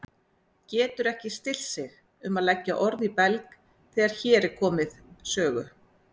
Getur ekki stillt sig um að leggja orð í belg þegar hér er komið sögu.